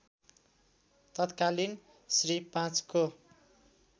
तत्कालीन श्री ५ को